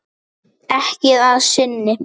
Ekki að sinni.